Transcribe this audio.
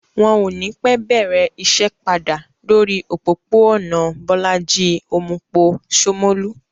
Wọn ò ní pẹ́ bẹ̀rẹ̀ iṣẹ́ padà lórí òpópó-ònà Bólájí Omupo, Shomolu